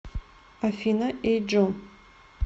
афина эй джо